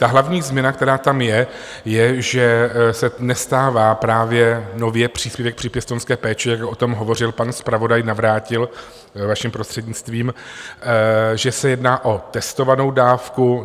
Ta hlavní změna, která tam je, je, že se nestává právě nově příspěvek při pěstounské péči, jak o tom hovořil pan zpravodaj Navrátil, vaším prostřednictvím, že se jedná o testovanou dávku.